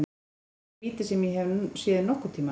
Þetta er minnsta víti sem ég hef séð nokkurntímann.